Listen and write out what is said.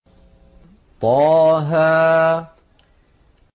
طه